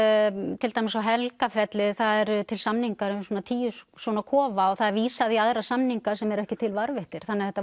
til dæmis á Helgafelli það eru til samningar um tíu svona kofa og það er vísað í aðra samninga sem eru ekki til varðveittir þannig að þetta